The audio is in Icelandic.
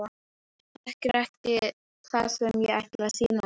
Hann þekkir ekki það sem ég ætla að sýna honum.